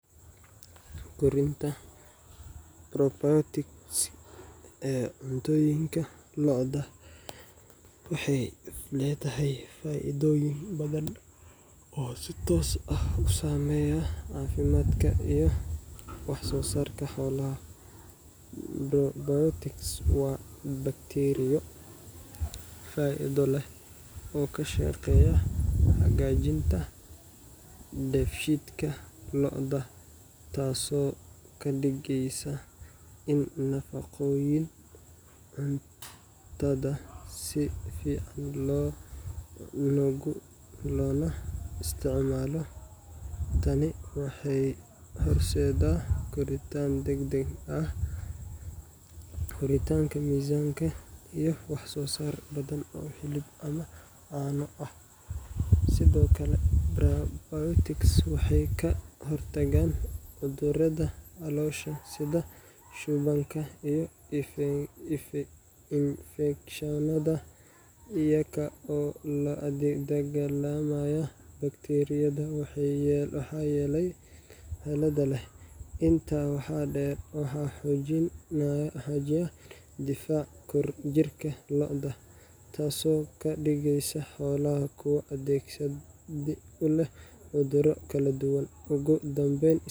Kordinta probiotic ee cuntooyinka lo'da waxay ledahay faa'iidoyin badan oo si toos ah u sameeya caafimaadka iyo wax soo sarka xoolaha, probiotic waa bakteriyo faa'iida leh oo kashaqeeya hagajinta debshidka lo'da taaso kadhigeysa in nafaqooyin cuntadaa si fican loola isticmaalo, taani waxay horseeda korintan degdeg ah ,koritanka miizanka iyo wax soo saar badan oo ah hilib ama caano ah, sidokale probiotic waxay kahortagan cuduurada caloosha sida shubanka iyo infeksheneda iyago la addegsanayo bakteriyada waxa yele inta waxaa dheer waxa xoojin hagajiya difac kordin jirka lo'da taaso kadhigeysa xoolaha kuwo adeegsi uleh cuduuro kala duban, igudambeyn